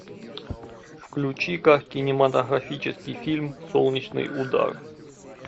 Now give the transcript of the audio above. включи ка кинематографический фильм солнечный удар